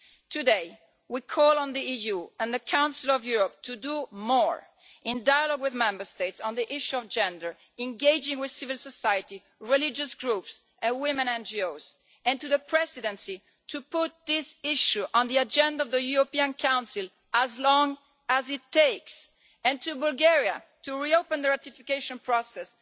Today, we call on the EU and the Council of Europe to do more, in dialogue with Member States, on the issue of gender, engaging with civil society, religious groups and women NGOs, we call on the Presidency to put this issue on the agenda of the European Council for as long as it takes, and we call on Bulgaria to reopen the ratification process.